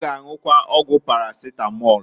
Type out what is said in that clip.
Ọ g' anwụkwa ọgwụ paracetamol.